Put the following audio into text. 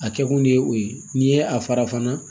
A kɛ kun de ye o ye n'i ye a fara fana